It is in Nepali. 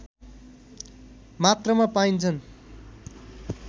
मात्रामा पाइन्छन्